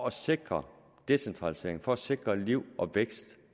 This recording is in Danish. at sikre decentralisering og sikre liv og vækst